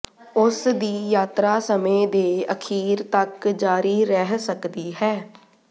ਉਸ ਦੀ ਯਾਤਰਾ ਸਮੇਂ ਦੇ ਅਖੀਰ ਤੱਕ ਜਾਰੀ ਰਹਿ ਸਕਦੀ ਹੈ